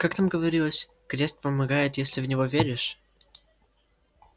как там говорилось крест помогает если в него веришь